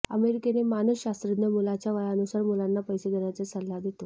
American मानसशास्त्रज्ञ मुलाच्या वयानुसार मुलांना पैसे देण्याचे सल्ला देतो